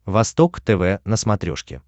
восток тв на смотрешке